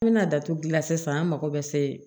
N bɛna datugu gilan sisan an mago bɛ se